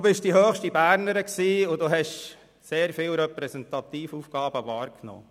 Sie waren die höchste Bernerin, und Sie nahmen sehr viele Repräsentativaufgaben wahr.